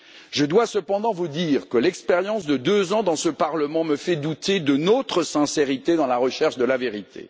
Je dois cependant vous dire que l'expérience de deux ans dans ce Parlement me fait douter de notre sincérité dans la recherche de la vérité.